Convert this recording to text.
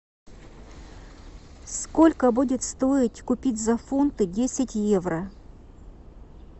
сколько будет стоить купить за фунты десять евро